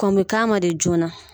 Kɔn me k'a ma de joona